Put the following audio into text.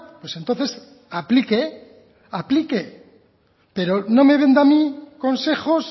pues entonces aplique aplique pero no me venda a mí consejos